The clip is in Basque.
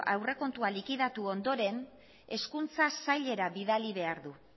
aurrekontua likidatu ondoren hezkuntza sailera bidali behar du